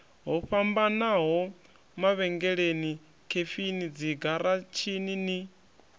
ho fhambanaho mavhengeleni khefini dzigaratshini